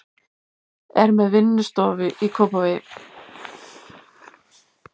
Er með vinnustofu í Kópavogi.